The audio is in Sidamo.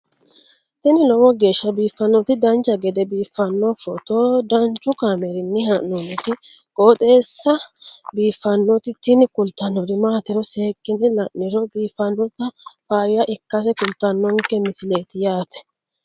tini lowo geeshsha biiffannoti dancha gede biiffanno footo danchu kaameerinni haa'noonniti qooxeessa biiffannoti tini kultannori maatiro seekkine la'niro biiffannota faayya ikkase kultannoke misileeti yaate